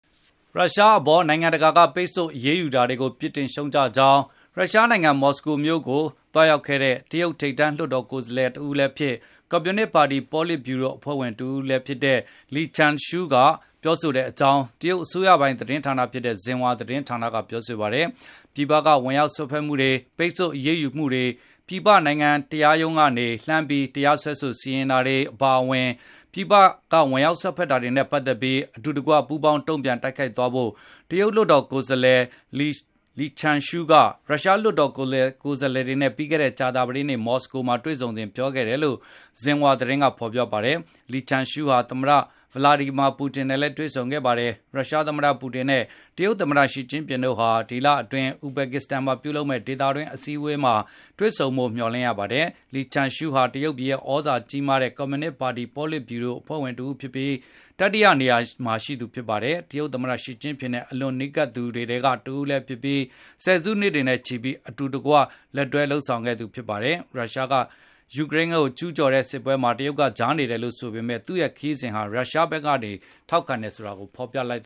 ရုရှားအပေါ် နိုင်ငံတကာက အရေးယူ ပိတ်ဆို့တာတွေကို ပြစ်တင်ရှုတ်ချကြောင်း ရုရှားနိုင်ငံ မော်စကိုမြို့တော်ကို သွားရောက်ခဲ့တဲ့ တရုတ်ထိပ်တန်း လွှတ်တော်ကိုယ်စားလှယ်တဦးလည်းဖြစ်၊ ကွန်မြူနစ်ပါတီ ပေါလစ်ဗျူရို အဖွဲ့ဝင်လည်း ဖြစ်တဲ့ Li Zhanshu ကပြောဆိုခဲ့ကြောင်း တရုတ်အစိုးရသတင်း ဌာနဖြစ်တဲ့ Xinhua သတင်းဌာနဖေါ်ပြပါတယ်။ ပြည်ပက ဝင်ရောက်စွက်ဖက်မှုတွေ၊ ပိတ်ဆို့အရေးယူမှုတွေ၊ ပြည်ပနိုင်ငံတရားရုံးကနေ လှမ်းပြီး တရားစွဲ စီရင်တာတွေ၊ အပါအဝင် ပြည်ပက ဝင်ရောက်စွက်ဖက်တာတွေနဲ့ ပတ်သက်ပြီး အတူတကွ ပူးပေါင်းတုန့်ပြန် တိုက်ခိုက်သွားဖို့ တရုတ် လွှတ်တော်ကိုယ်စားလှယ် Li Zhanshu က ရုရှား လွှတ်တော်ကိုယ်စားလှယ်တွေနဲ့ ပြီးခဲ့တဲ့ ကြာသပတေးနေ့ မော်စကိုမှာ တွေ့ဆုံစဉ် ပြောဆိုခဲ့တယ်လို့ Xinhua သတင်းက ဖေါ်ပြပါတယ်။ Li Zhanshu ဟာ သမ္မတ Vladimir Putin နဲ့လည်းတွေ့ဆုံခဲ့ပါတယ်။ ရုရှားသမ္မတ ပူတင်နဲ့ တရုတ်သမ္မတ Xi Jinping တို့ဟာ ဒီလအတွင်း ဥဇဘက်ကစ္စတန်မှာ ပြုလုပ်မယ့် ဒေသတွင်း အစည်းအဝေးမှာ တွေဆုံမယ်လို့ မျှော်လင့်ရပါတယ်။ Li Zhanshu ဟာ တရုတ်ပြည်ရဲ့ သြဇာအာဏာကြီးမားတဲ့ ကွန်မြူနစ်ပါတီ ပေါလစ်ဗျူရို အဖွဲ့ဝင်တဦးဖြစ်ပြီး၊ တတိယနေရာမှာ ရှိသူဖြစ်ပါတယ်။ တရုတ်သမ္မတ Xi Jinping နဲ့ အလွန်နီးကပ်သူတွေထဲကတဦးလည်းဖြစ်ပြီး၊ ဆယ်စုနှစ်တွေနဲ့ချီပြီးအတူတကွလက်တွဲလုပ်ခဲ့သူတွေ ဖြစ်ပါတယ်။ ယူကရိန်း- ရုရှားစစ်ပွဲမှာ တရုတ်က ကြားနေ ရပ်တည်တယ်လို့ပြောဆိုထားပေမယ့် သူ့ရဲ့ ခရီးစဉ်ဟာ တရုတ်က ရုရှားဘက်ကနေ ထောက်ခံအားပေးတယ် ဆိုတာကို ဖေါ်ပြလိုက်တ